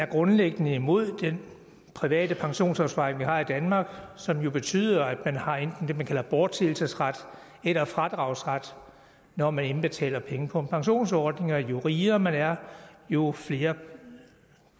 grundlæggende er imod den private pensionsopsparing vi har i danmark som jo betyder at man har enten det man kalder bortseelsesret eller fradragsret når man indbetaler penge på en pensionsordning og jo rigere man er jo flere